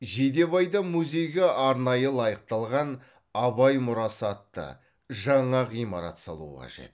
жидебайда музейге арнайы лайықталған абай мұрасы атты жаңа ғимарат салу қажет